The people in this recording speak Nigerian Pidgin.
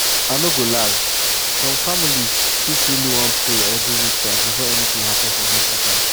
i no go lie some families fit really wan pray or do ritual before anything happen for hospital.